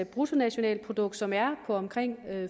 bruttonationalprodukt som er på omkring